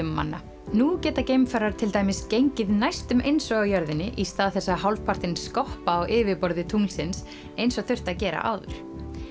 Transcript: manna nú geta geimfarar til dæmis gengið næstum eins og á jörðinni í stað þess að hálfpartinn skoppa á yfirborði tunglsins eins og þurfti að gera áður